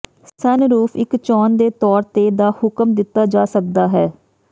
sunroof ਇੱਕ ਚੋਣ ਦੇ ਤੌਰ ਤੇ ਦਾ ਹੁਕਮ ਦਿੱਤਾ ਜਾ ਸਕਦਾ ਹੈ